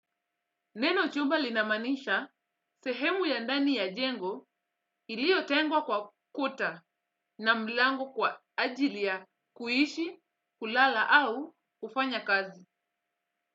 Neno chumba linamanisha sehemu ya ndani ya jengo iliotengwa kwa kuta na mlango kwa ajili ya kuishi kulala au kufanya kazi.